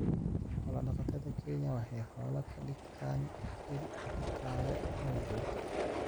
Xoolo-dhaqatada Kenya waxay xoolaha ka dhigtaan il dhaqaale oo joogto ah.